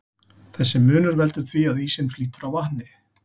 Þessi munur veldur því að ísinn flýtur á vatni.